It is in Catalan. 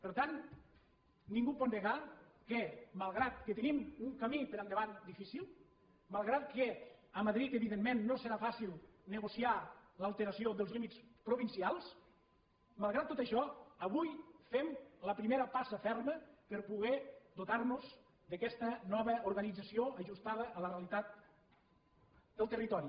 per tant ningú pot negar que malgrat que tenim un camí per endavant difícil malgrat que a madrid evidentment no serà fàcil negociar l’alteració dels límits provincials malgrat tot això avui fem la primera passa ferma per poder dotar nos d’aquesta nova organització ajustada a la realitat del territori